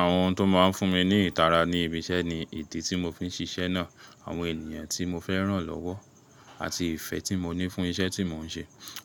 Àwọn ohun tó máa ń fún mi ní ìtara ní ibi iṣẹ́ ni, ìdí tí mo fi ń ṣiṣẹ́ náà, àwọn ènìyàn tí mo fẹ́ rànlọ́wọ́, àti ìfẹ́ tí mo ní fún iṣẹ́ tí mò ń ṣe.